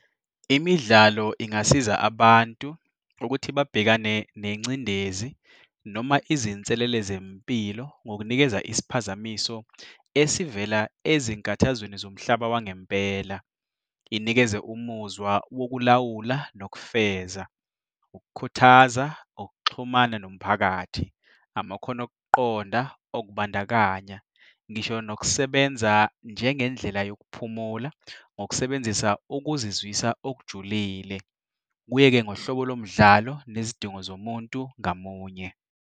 Imidlalo ingasiza abantu ukuthi babhekane nengcindezi noma izinselele zempilo ngokunikeza isiphazamiso esivela ezinkathazweni zomhlaba wangempela. Inikeze umuzwa wokulawula nokufeza, ukukhuthaza ukuxhumana nomphakathi, amakhono okuqonda okubandakanya, ngisho nokusebenza njengendlela yokuphumula ngokusebenzisa ukuzizwisa okujulile. Kuye-ke ngohlobo lo umdlalo nezidingo zomuntu ngamunye.